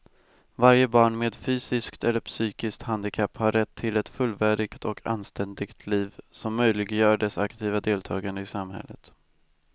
Varje barn med fysiskt eller psykiskt handikapp har rätt till ett fullvärdigt och anständigt liv som möjliggör dess aktiva deltagande i samhället.